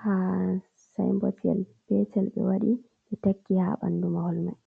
ha sibotal yal petel ɓe waɗi ɓe taki ha ɓandu mahol mai.